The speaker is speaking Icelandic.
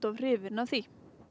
hrifin af því